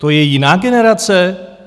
To je jiná generace?